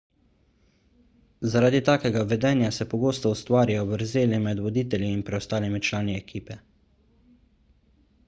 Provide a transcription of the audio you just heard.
zaradi takega vedenja se pogosto ustvarijo vrzeli med voditelji in preostalimi člani ekipe